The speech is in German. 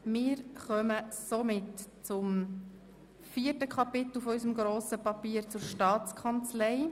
Wir kommen somit zum vierten Kapitel des Dossiers zur Staatskanzlei.